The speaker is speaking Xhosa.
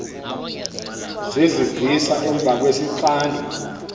zezivisa emva kwesixando